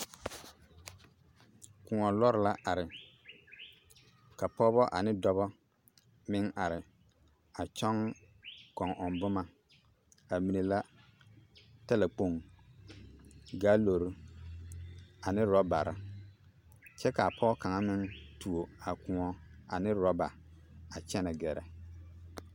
Kõɔ lɔre la are ka pɔgebɔ ane dɔbɔ meŋ are a kyɔŋ kɔŋ-ɔŋ boma, k'a mine la talakpoŋ, gaalori ane rɔbare kyɛ k'a Pɔge kaŋa meŋ tuo a kõɔ ane rɔba a kyɛnɛ gɛrɛ.